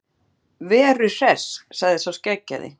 Veru Hress, sagði sá skeggjaði.